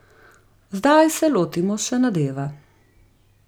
Zdaj se lotimo še nadeva.